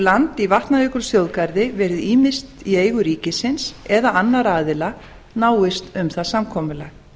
land í vatnajökulsþjóðgarði verið ýmist í eigu ríkisins eða annarra aðila náist um það samkomulag